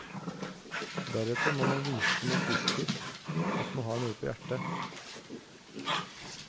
Deretter må man vise noe positivt, at man har noe på hjertet.